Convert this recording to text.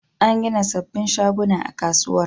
An gina sabbin shaguna a kasuwar.